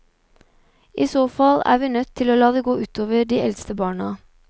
I så fall er vi nødt til å la det gå utover de eldste barna.